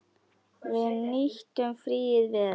Við nýttum fríið vel.